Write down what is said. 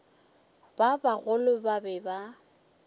ba bagolo ba be ba